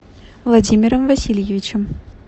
владимиром васильевичем